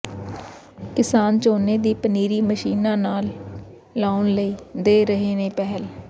ਕਿਸਾਨ ਝੋਨੇ ਦੀ ਪਨੀਰੀ ਮਸ਼ੀਨਾਂ ਨਾਲ ਲਾਉਣ ਲਈ ਦੇ ਰਹੇ ਨੇ ਪਹਿਲ